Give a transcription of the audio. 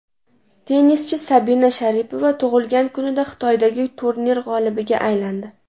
Tennischi Sabina Sharipova tug‘ilgan kunida Xitoydagi turnir g‘olibiga aylandi.